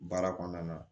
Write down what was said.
Baara kɔnɔna na